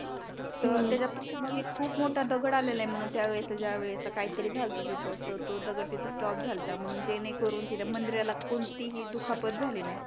तर त्याच्या पाठीमागे एक खूप मोठा दगड आलेल म्हणत त्या वेळेस ज्या वेळेस काही तरी झालत तिथ तो दगड तिथे स्टॉप झालता जेणेकरून ते मंदिराला कोणती दुखापत झाली नाही